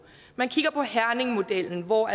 man kigger på herningmodellen hvor